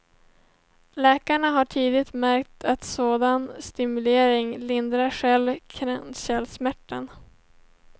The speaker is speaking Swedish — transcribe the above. Läkarna har tidigare märkt att sådan stimulering lindrar själva kranskärlssmärtan.